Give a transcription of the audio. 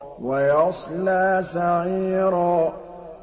وَيَصْلَىٰ سَعِيرًا